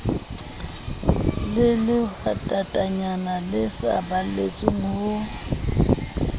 le lehwatatanyana le saballetse ho